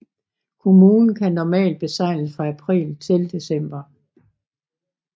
Kommunen kan normalt besejles fra april til december